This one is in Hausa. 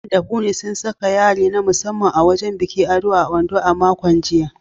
Dan da Funmi sun saka yari na musamman a wajen bikin ado a Ondo a makon jiya.